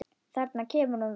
Þarna kemur hún þá!